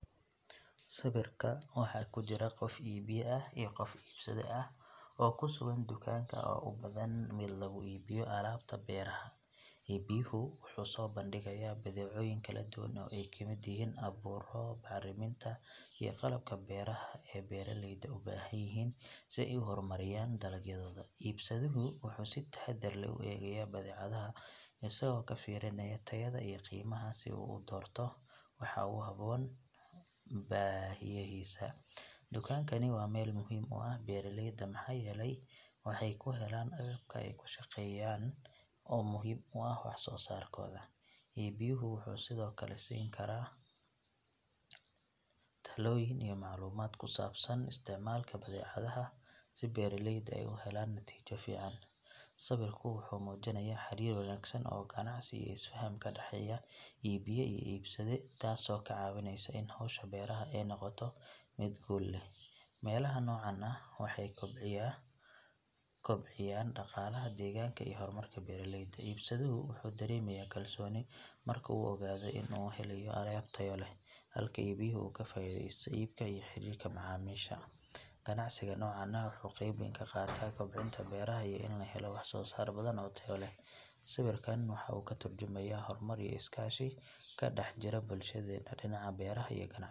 Sawirka waxaa ku jira qof iibiye ah iyo qof iibsade ah oo ku sugan dukaanka oo u badan mid lagu iibiyo alaabta beeraha. Iibiyehu wuxuu soo bandhigayaa badeecooyin kala duwan oo ay ka mid yihiin abuurro, bacriminta, iyo qalabka beeraha ee beeraleyda u baahan yihiin si ay u horumariyaan dalagyadooda. Iibsaduhu wuxuu si taxaddar leh u eegayaa badeecadaha isagoo ka fiirinaya tayada iyo qiimaha si uu u doorto waxa ugu habboon baahiyahiisa. Dukaankani waa meel muhiim u ah beeraleyda maxaa yeelay waxay ka helaan agabka ay ku shaqeeyaan oo muhiim u ah wax soo saarkooda. Iibiyehu wuxuu sidoo kale siin karaa talooyin iyo macluumaad ku saabsan isticmaalka badeecadaha si beeraleydu ay u helaan natiijo fiican. Sawirku wuxuu muujinayaa xiriir wanaagsan oo ganacsi iyo is faham ka dhexeeya iibiye iyo iibsade taasoo ka caawinaysa in hawsha beeraha ay noqoto mid guul leh. Meelahan nooca ah waxay kobciyaan dhaqaalaha deegaanka iyo horumarka beeraleyda. Iibsaduhu wuxuu dareemayaa kalsooni marka uu ogaado in uu ka helayo alaab tayo leh, halka iibiyehu uu ka faa’iidaysto iibka iyo xiriirka macaamiisha. Ganacsiga noocan ah wuxuu qayb weyn ka qaataa kobcinta beeraha iyo in la helo wax soo saar badan oo tayo leh. Sawirkan waxa uu ka tarjumayaa horumar iyo iskaashi ka dhex jira bulshadeenna dhinaca beeraha iyo ganacsiga.